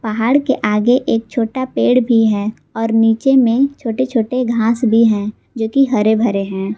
पहाड़ के आगे एक छोटा पेड़ भी है और नीचे में छोटे छोटे घास भी हैं जो कि हरे भरे हैं।